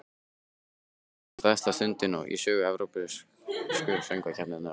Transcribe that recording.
Sjálfsagt var þetta ein stærsta stundin í sögu Evrópsku söngvakeppninnar.